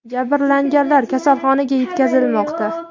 Jabrlanganlar kasalxonaga yetkazilmoqda.